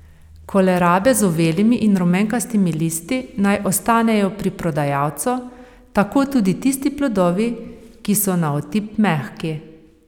Kolerabe z uvelimi in rumenkastimi listi naj ostanejo pri prodajalcu, tako tudi tisti plodovi, ki so na otip mehki.